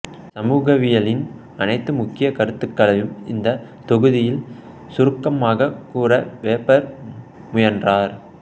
சமூகவியலின் அனைத்து முக்கிய கருத்துகளையும் இந்த தொகுதியில் சுருக்கமாகக் கூற வெபர் முயன்றார்